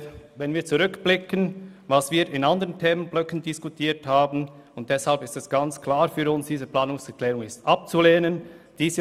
Wenn wir auf das zurückblicken, was wir bei anderen Themenblöcken diskutiert haben, ist es für uns ganz klar, dass diese Planungserklärung abzulehnen ist.